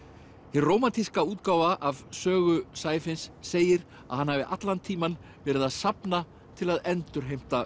hin rómantíska útgáfa af sögu segir að hann hafi allan tímann verið að safna til að endurheimta